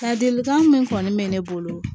Ladilikan min kɔni bɛ ne bolo